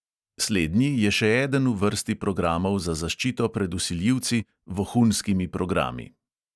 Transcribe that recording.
Slednji je še eden v vrsti programov za zaščito pred vsiljivci – vohunskimi programi.